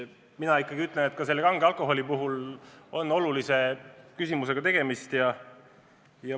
Mina ikkagi ütlen, et ka kange alkoholi puhul on tegemist olulise probleemiga.